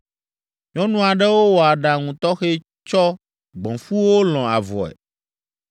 Nyɔnu aɖewo wɔ aɖaŋu tɔxɛ tsɔ gbɔ̃fuwo lɔ̃ avɔe.